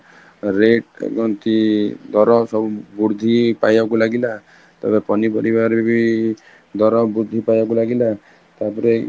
rate କହନ୍ତି ଦର ସବୁ ବୃଦ୍ଧି ପାଇବାକୁ ଲାଗିଲା, ତାପରେ ପନି ପାରିବରେ ବି ଦର ବୃଦ୍ଧି ପାଇବାକୁ ଲାଗିଲା ତାପରେ